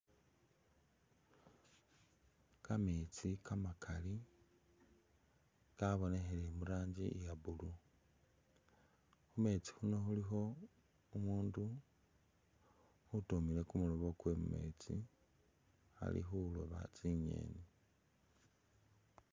Kameetsi kamakaeli kabonekhele muranji iya blue khumeetsi khuno khulikho umundu utumile kumuloobo kwewe mumeetsi ali khulooba tsingeni.